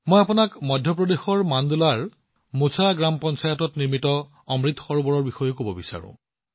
মই আপোনাক মধ্য প্ৰদেশৰ মাণ্ডলাৰ মোচা গ্ৰাম পঞ্চায়তত নিৰ্মিত অমৃত সৰোবৰৰ বিষয়েও কব বিচাৰো